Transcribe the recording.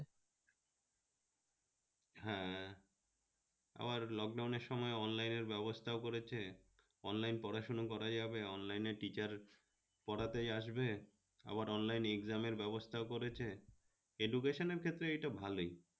হ্যাঁ আর lockdown এর সময় online এর ব্যাবস্থা করেছে, online পড়াশুনা করা যাবে online এ টিকার পরাতেই আসবে, আবার online exam এর ব্যাবস্থা করেছে, education এর ক্ষেত্রে এটা ভালোই